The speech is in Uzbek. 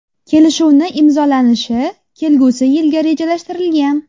Kelishuvni imzolanishi kelgusi yilga rejalashtirilgan.